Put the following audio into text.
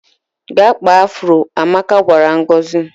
"Gaa kpaa afụro," Amaka gwara Ngozi.